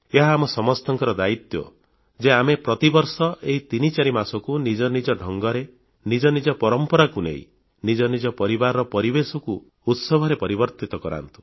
ଏହା ଆମ ସମସ୍ତଙ୍କ ଦାୟୀତ୍ୱ ଯେ ଆମେ ପ୍ରତି ବର୍ଷ ଏହି ତିନଚାରି ମାସକୁ ନିଜ ନିଜ ଢଙ୍ଗରେ ନିଜ ନିଜ ପରମ୍ପରାକୁ ନେଇ ନିଜ ନିଜ ପରିବାରର ପରିବେଶକୁ ଉତ୍ସବରେ ପରିବର୍ତ୍ତିତ କରନ୍ତୁ